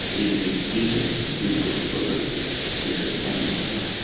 ये एक व्यक्ति है जो ब्लू कलर के टी-शर्ट पहना हुआ हैं।